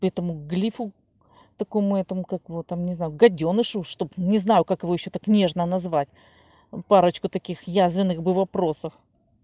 этому глифу такому этому как его там не знаю гадёнышу чтоб не знаю как его ещё так нежно назвать парочку таких язвенных бы вопросов